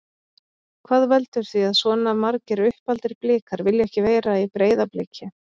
Hvað veldur því að svona margir uppaldir Blikar vilja ekki vera í Breiðabliki?